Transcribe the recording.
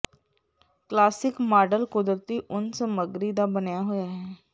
classic model ਕੁਦਰਤੀ ਉੱਨ ਸਮੱਗਰੀ ਦਾ ਬਣਿਆ ਹੋਇਆ ਹੈ